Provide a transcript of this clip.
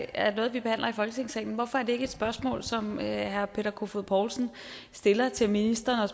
er noget vi behandler i folketingssalen hvorfor er det ikke et spørgsmål som herre peter kofod poulsen stiller til ministeren